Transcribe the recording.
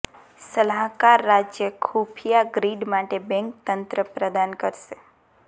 સલાહકાર રાજ્ય ખુફિયા ગ્રીડ માટે બેંક તંત્ર પ્રદાન કરશે